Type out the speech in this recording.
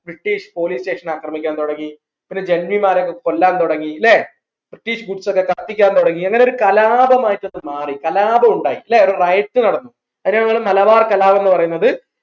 British police station അക്രമിക്കാൻ തുടങ്ങി പിന്നെ ജെന്നിമാരെ ഒക്കെ കൊല്ലാൻ തുടങ്ങി ല്ലേ British goods ഒക്കെ കത്തിക്കാൻ തുടങ്ങി അങ്ങനെയൊരു കലാപം ആയിട്ട് മാറി കലാപം ഉണ്ടായി ഒരു riot നടന്നു അതിനെ നമ്മൾ മലബാർ കലാപംന്ന് പറയുന്നത്